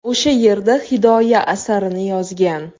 O‘sha erda ‘Hidoya’ asarini yozgan.